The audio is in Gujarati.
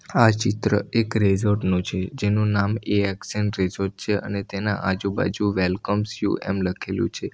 આ ચિત્ર એક રેઝોર્ટ નું છે જેનું નામ એ એક્સ એન રેઝોર્ટ છે અને તેના આજુબાજુ વેલકમ્સ યુ એમ લખેલું છે.